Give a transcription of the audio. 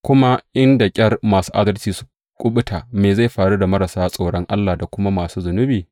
Kuma, In da ƙyar masu adalci su kuɓuta, me zai faru da marasa tsoron Allah da kuma masu zunubi?